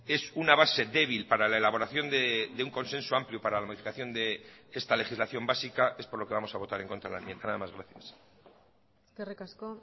es una base débil para la elaboración de un consenso amplio para la modificación de esta legislación básica es por lo que vamos a votar en contra de la enmienda nada más gracias eskerrik asko